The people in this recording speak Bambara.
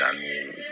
K'a miiri